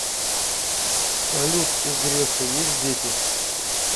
салют у грефа есть дети